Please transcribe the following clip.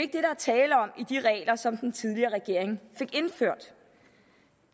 tale om i de regler som den tidligere regering fik indført